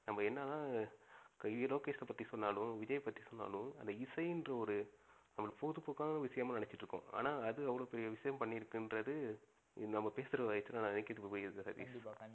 நம்ப எனத்தான் லோகேஷை பத்தி சொன்னாலும் விஜயை பத்தி சொன்னாலும் அந்த இசைன்ற ஒரு பொழுதுபோக்கான விஷயமா நினச்சிட்டு இருக்கோம், ஆனா அது அவ்ளோ பெரிய விஷயம் பண்ணி இருக்குன்றது நம்ப பேசுறத வச்சிதான் எனக்கே இப்போ புரிது சதீஷ். கண்டிப்பா கண்டிப்பா.